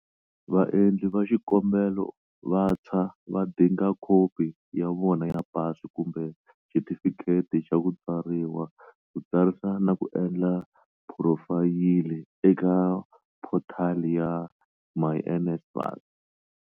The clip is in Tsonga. Vaendli va xikombelo vantshwa va dinga khopi ya vona ya PASI kumbe xitifikheti xa ku tswariwa ku tsarisa na ku endla phurofayili eka phothali ya myNSFAS.